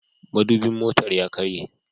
Madubin motar ya karye.